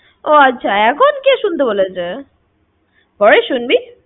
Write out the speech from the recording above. ও আচ্ছা। এখন কে শুনতে বলেছে? পরে শুনবি।